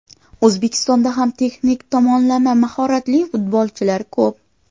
O‘zbekistonda ham texnik tomonlama mahoratli futbolchilar ko‘p.